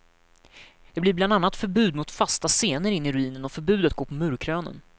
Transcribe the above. Det blir bland annat förbud mot fasta scener inne i ruinen och förbud att gå på murkrönen.